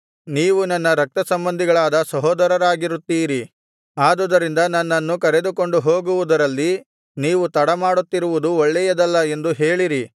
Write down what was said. ನೀವು ನನ್ನ ರಕ್ತಸಂಬಂಧಿಗಳಾದ ಸಹೋದರರಾಗಿರುತ್ತೀರಿ ಆದುದರಿಂದ ನನ್ನನ್ನು ಕರೆದುಕೊಂಡು ಹೋಗುವುದರಲ್ಲಿ ನೀವು ತಡಮಾಡುತ್ತಿರುವುದು ಒಳ್ಳೆಯದಲ್ಲ ಎಂದು ಹೇಳಿರಿ